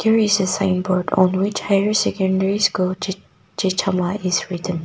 There is a signboard on which higher secondary Chechama is written.